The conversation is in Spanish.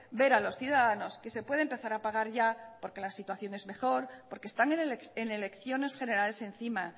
ver a los ciudadanos que se puede empezar a pagar ya porque la situación es mejor porque están en elecciones generales encima